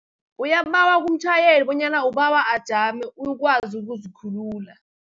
Uyambawa kumtjhayeli bonyana ubawa ajame ukwazi ukuzikhulula.